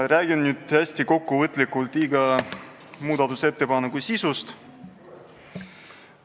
Räägin nüüd hästi kokkuvõtlikult iga muudatusettepaneku sisust.